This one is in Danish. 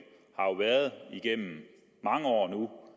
igennem mange år nu